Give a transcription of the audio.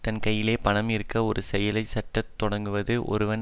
தன் கையிலே பணம் இருக்க ஒரு செயலை செய்ய தொடங்குவது ஒருவன்